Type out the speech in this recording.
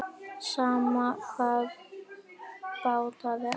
Sama hvað bjátaði á.